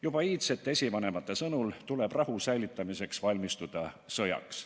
Juba meie iidsed esivanemad teadsid, et rahu säilitamiseks tuleb valmistuda sõjaks.